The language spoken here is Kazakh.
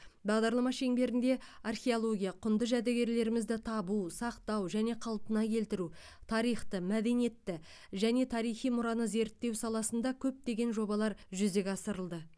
бағдарлама шеңберінде археология құнды жәдігерлерімізді табу сақтау және қалпына келтіру тарихты мәдениетті және тарихи мұраны зерттеу саласында көптеген жобалар жүзеге асырылды